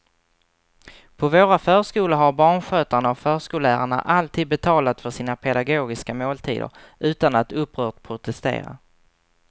På våra förskolor har barnskötarna och förskollärarna alltid betalat för sina pedagogiska måltider utan att upprört protestera.